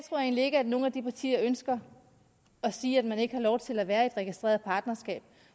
egentlig ikke at nogen af de partier ønsker at sige at man ikke har lov til at være i et registreret partnerskab